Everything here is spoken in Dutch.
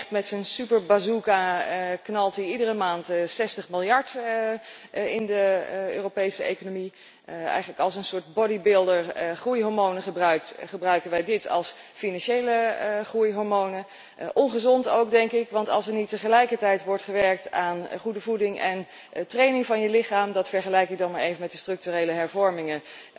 Hij knalt met zijn super bazooka iedere maand 60 miljard in de Europese economie. Eigenlijk zoals een soort bodybuilder groeihormonen gebruikt, gebruiken wij dit als financiële groeihormonen. Ongezond, denk ik, want als er niet tegelijkertijd wordt gewerkt aan goede voeding en training van je lichaam dat vergelijk ik dan maar even met de structurele hervormingen